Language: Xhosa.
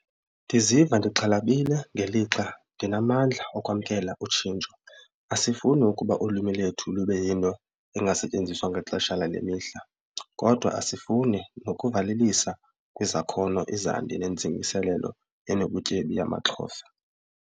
Ndiziva ndixhalabile ngelixa ndinamandla okwamkela utshintsho. Asifuni ukuba ulwimi lethu lube yinto ingasetyenziswa ngexesha lale mihla kodwa asifuni nokuvalelisa kwizakhono izandi nentsingiselelo enobutyebi yamaXhosa.